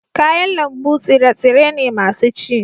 kayan lambu tsire-tsire ne masu ci